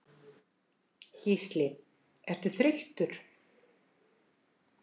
Gísli: Ertu þreyttur?